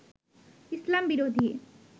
ইসলাম-বিরোধী